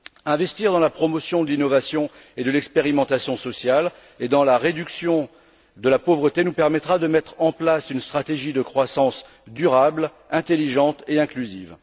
Investir dans la promotion de l'innovation et de l'expérimentation sociale et dans la réduction de la pauvreté nous permettra de mettre en place une stratégie de croissance durable, intelligente et inclusive.